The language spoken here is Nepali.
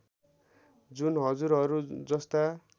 जुन हजुरहरू जस्ता